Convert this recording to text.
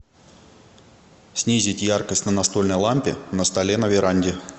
снизить яркость на настольной лампе на столе на веранде